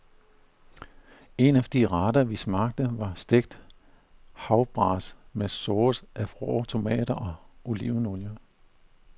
En af de retter vi smagte var stegt havbras med sauce af rå tomater og olivenolie.